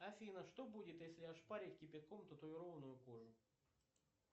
афина что будет если ошпарить кипятком татуированную кожу